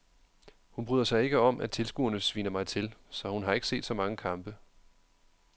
Hun bryder sig ikke om at tilskuerne sviner mig til, så hun har ikke set så mange kampe.